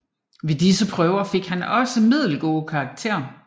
Ved disse prøver fik han også middelgode karakterer